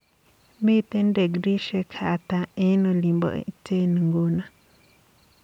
Miten dekriishek hata eng olin bo Iten nguno